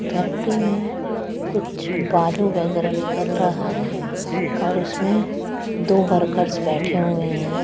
Factory में कुछ बालू वगैरह निकल रहा है और उसमें दो वर्कर्स बैठे हुए हैं।